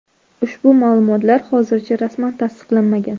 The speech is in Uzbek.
Ushbu ma’lumotlar hozircha rasman tasdiqlanmagan.